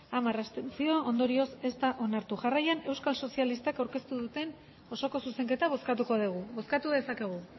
hamar abstentzio ondorioz ez da onartu jarraian euskal sozialistak aurkeztu duen osoko zuzenketa bozkatuko dugu bozkatu dezakegu